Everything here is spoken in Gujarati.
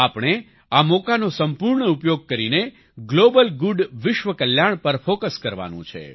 આપણે આ મોકાનો સંપૂર્ણ ઉપયોગ કરીને ગ્લોબલ ગુડ વિશ્વ કલ્યાણ પર ફોકસ કરવાનું છે